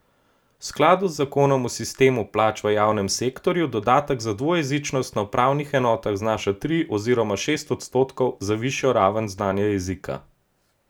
V skladu z zakonom o sistemu plač v javnem sektorju dodatek za dvojezičnost na upravnih enotah znaša tri oziroma šest odstotkov za višjo raven znanja jezika.